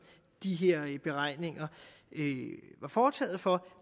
de her beregninger er foretaget for